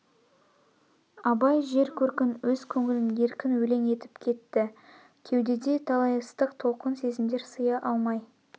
абай жер көркін өз көңілін еркін өлең етіп кетті кеудеде талай ыстық толқын сезмдер сыя алмай